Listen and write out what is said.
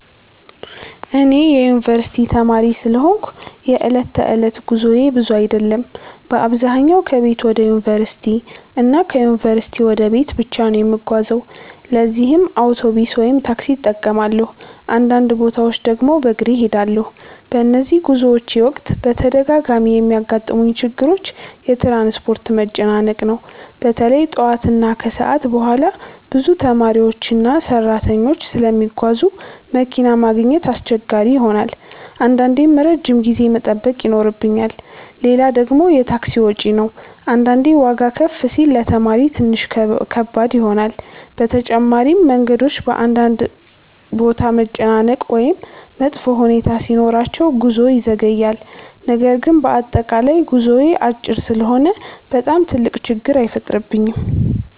እኔ የዩንቨርሲቲ ተማሪ ስለሆንኩ የዕለት ተዕለት ጉዞዬ ብዙ አይደለም። በአብዛኛው ከቤት ወደ ዩንቨርሲቲ እና ከዩንቨርሲቲ ወደ ቤት ብቻ ነው የምጓዘው ለዚህም አውቶቡስ ወይም ታክሲ እጠቀማለሁ፣ አንዳንድ ቦታዎች ድግም በግሬ እሄዳለሁ። በነዚህ ጉዞዎቼ ወቅት በተደጋጋሚ የሚያጋጥሙኝ ችግሮች የትራንስፖርት መጨናነቅ ነው። በተለይ ጠዋት እና ከሰዓት በኋላ ብዙ ተማሪዎችና ሰራተኞች ስለሚጓዙ መኪና ማግኘት አስቸጋሪ ይሆናል አንዳንዴም ረጅም ጊዜ መጠበቅ ይኖርብኛል። ሌላ ደግሞ የታክሲ ወጪ ነው አንዳንዴ ዋጋ ከፍ ሲል ለተማሪ ትንሽ ከባድ ይሆናል። በተጨማሪም መንገዶች በአንዳንድ ቦታ መጨናነቅ ወይም መጥፎ ሁኔታ ሲኖራቸው ጉዞ ይዘገያል። ነገር ግን በአጠቃላይ ጉዞዬ አጭር ስለሆነ በጣም ትልቅ ችግር አይፈጥርብኝም።